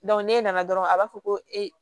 n'e nana dɔrɔn a b'a fɔ ko ee